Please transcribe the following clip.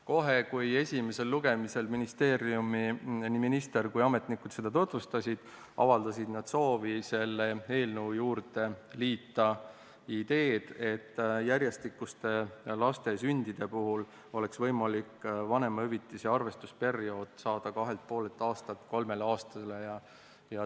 Kohe, kui esimesel lugemisel ministeeriumi nii minister kui ka ametnikud seda tutvustasid, avaldasid nad soovi selle eelnõu juurde liita idee, et laste järjestikuste sündide puhul oleks võimalik vanemahüvitise arvestusperiood saada kahelt ja poolelt aastalt kolmele aastale.